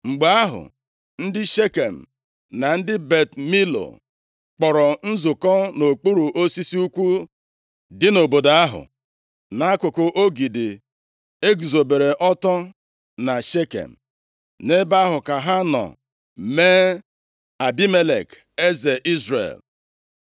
Mgbe ahụ, ndị Shekem na ndị Bet Milo kpọrọ nzukọ nʼokpuru osisi ukwu dị nʼobodo ahụ nʼakụkụ ogidi e guzobere ọtọ na Shekem. Nʼebe ahụ ka ha nọ mee Abimelek eze Izrel.